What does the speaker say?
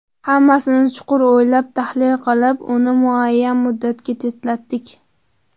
Hammasini chuqur o‘ylab, tahlil qilib, uni nomuayyan muddatga chetlatdik.